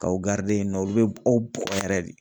K'aw yen nɔ olu be aw bugɔ yɛrɛ de.